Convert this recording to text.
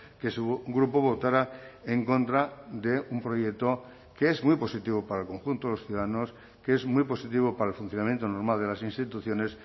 que su grupo votara en contra de un proyecto que es muy positivo para el conjunto de los ciudadanos que es muy positivo para el funcionamiento normal de las instituciones